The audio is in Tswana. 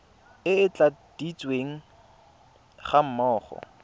e e tladitsweng ga mmogo